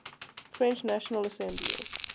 french national assembly